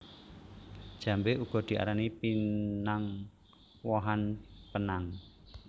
Jambé uga diarani pinang wohan penang